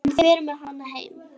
Hann fer með hana heim.